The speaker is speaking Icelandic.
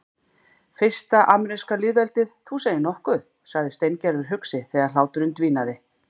Fyrsta ameríska lýðveldið, þú segir nokkuð sagði Steingerður hugsi þegar hláturinn dvínaði.